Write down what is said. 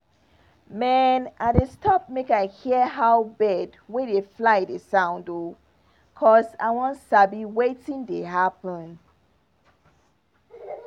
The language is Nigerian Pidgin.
mehn i dey stop make i hear how bird wey dey fly dey sound o cos i wan sabi wetin dey happen.